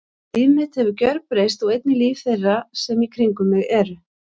Líf mitt hefur gjörbreyst og einnig líf þeirra sem í kringum mig eru.